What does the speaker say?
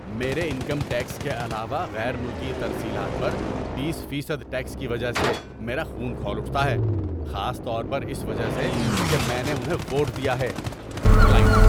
میرے income tax کے علاوہ غیر ملکی ترسیلات پر بیس فیصد ٹیکس کی وجہ سے میرا خون کھول اٹھتا ہے، خاص طور پر اس وجہ سے کہ میں نے انہیں ووٹ دیا ہے۔ (کلائنٹ)